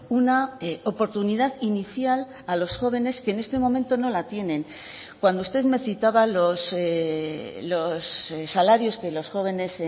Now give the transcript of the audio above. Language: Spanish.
una oportunidad inicial a los jóvenes que en este momento no la tienen cuando usted me citaba los salarios que los jóvenes